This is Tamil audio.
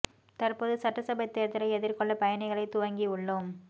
தற்போது சட்டசபை தேர்தலை எதிர்கொள்ள பணிகளை துவங்கி உள்ளோம்